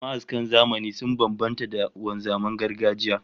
Ma'askan zamani sun bambanta da wanzaman gargajiya